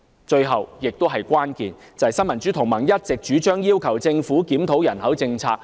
最後，也是最關鍵的問題，就是新民主同盟一直主張要求政府檢討人口政策。